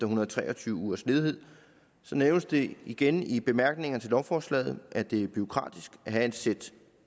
hundrede og tre og tyve ugers ledighed nævnes det igen i bemærkningerne til lovforslaget at det er bureaukratisk at have et sæt